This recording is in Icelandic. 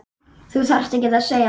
Þú þarft ekkert að segja.